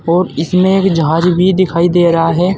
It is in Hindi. और इसमें एक जहाज भी दिखाई दे रहा है।